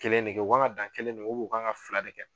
Kelen de kɛ u kan ka dan kelen de man u bɛn u kan ka fila de kɛ